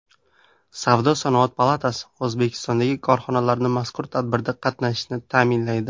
Savdo-sanoat palatasi O‘zbekistondagi korxonalarni mazkur tadbirda qatnashishini ta’minlaydi.